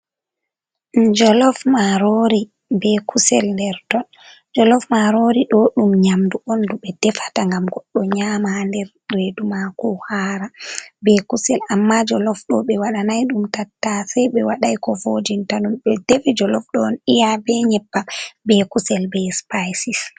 Jolof marori ɓe kusel nder ton, jolof marori ɗo ɗum nyamdu on ɗu ɓe defata ngam goɗɗo nyama ha nder redu mako ohara be kusel, amma jolof ɗo ɓe waɗinai ɗum tattase ɓe waɗanai ko vojinta ɗum ɓe defi jolof ɗo on iya be nyebbam be kusel be spicis.